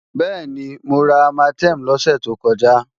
Bẹ́ẹ̀ni, mo ra Armatem lọ́sẹ̀ tó kọjá